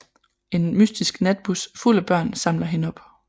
En mystisk natbus fuld af børn samler hende op